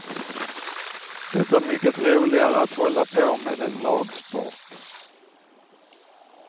Det är mycket roligare att hålla på med en lagsport.